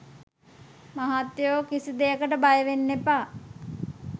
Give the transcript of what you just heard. මහත්තයෝ කිසි දෙයකට බයවෙන්න එපා.